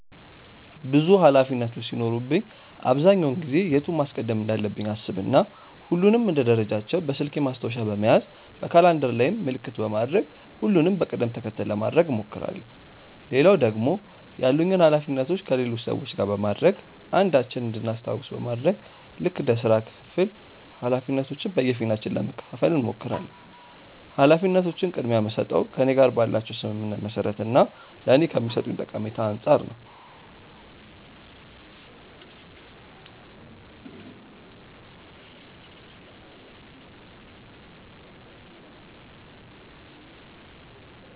ብዙ ኃላፊነቶች ሲኖሩብኝ አብዛኛውን ጊዜ የቱን ማስቀደም እንዳለብኝ አሰብ እና ሁሉንም እንደ ደረጃቸው በስልኬ ማስታወሻ በመያዝ በካላንደር ላይም ምልክት በማድረግ ሁሉንም በቅድም ተከተል ለማድረግ እሞክራለው። ሌላው ደግሞ ያሉኝን ኃላፊነቶች ከሌሎች ሰዎች ጋር በማድረግ አንዳችን እንድናስታውስ በማድረግ ልክ እንደ ስራ ክፍፍል ኃላፊነቶችን በየፊናችን ለመከፈፋል እንሞክራለን። ኃላፊነቶችን ቅድምያ የምስጠው ከእኔ ጋር ባላቸው ስምምነት መሰረት እና ለኔ ከሚሰጡኝ ጠቀሜታ አንፃር ነው።